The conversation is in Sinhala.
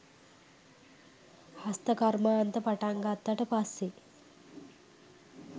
හස්ත කර්මාන්ත පටන් ගත්තට පස්සෙ